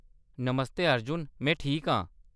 नमस्ते अर्जुन ! में ठीक आं।